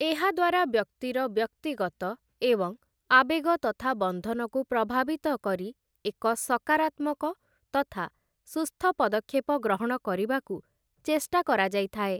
ଏହାଦ୍ୱାରା ବ୍ୟକ୍ତିର ବ୍ୟକ୍ତିଗତ ଏବଂ ଆବେଗ ତଥା ବନ୍ଧନକୁ ପ୍ରଭାବିତ କରି ଏକ ସକାରାତ୍ମକ ତଥା ସୁସ୍ଥ ପଦକ୍ଷେପ ଗ୍ରହଣ କରିବାକୁ ଚେଷ୍ଟା କରାଯାଇଥାଏ ।